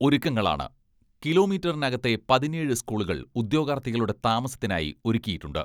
ഒരുക്കങ്ങളാണ് കിലോമീറ്ററിനകത്തെ പതിനേഴ് സ്കൂളുകൾ ഉദ്യോഗാർഥികളുടെ താമസത്തിനായി ഒരുക്കിയിട്ടുണ്ട്.